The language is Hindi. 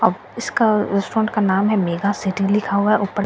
अब इसका रेस्टोरेंट का नाम है मेघा लिखा हुआ है ऊपर --